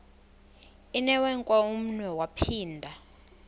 inewenkwe umnwe yaphinda